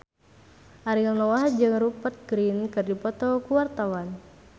Ariel Noah jeung Rupert Grin keur dipoto ku wartawan